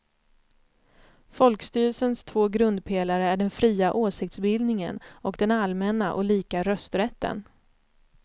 Folkstyrelsens två grundpelare är den fria åsiktsbildningen och den allmänna och lika rösträtten.